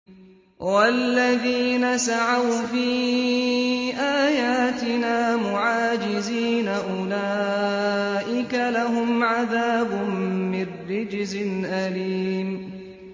وَالَّذِينَ سَعَوْا فِي آيَاتِنَا مُعَاجِزِينَ أُولَٰئِكَ لَهُمْ عَذَابٌ مِّن رِّجْزٍ أَلِيمٌ